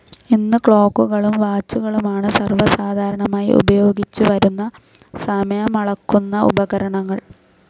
ഇന്ന് ക്ലോക്കുകളും വാച്ചുകളുമാണ് സർവ്വ സാധാരണമായി ഉപയോഗിച്ചുവരുന്ന സമയമളക്കുന്ന ഉപകരണങ്ങൾ.